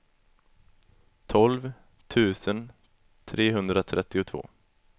tolv tusen trehundratrettiotvå